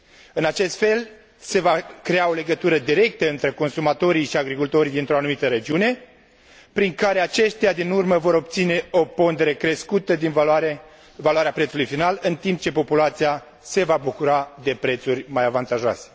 În acest fel, se va crea o legătură directă între consumatorii și agricultorii dintr o anumită regiune, prin care aceștia din urmă vor obține o pondere crescută din valoarea prețului final, în timp ce populația se va bucura de prețuri mai avantajoase.